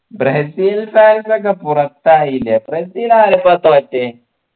Brazil fans ഒക്കെ പുറത്തായില്ലേ ബ്രസീൽ ആരെപ്പ തോറ്റെ